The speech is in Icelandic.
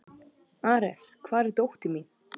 Ares, hvar er dótið mitt?